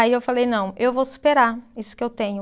Aí eu falei, não, eu vou superar isso que eu tenho.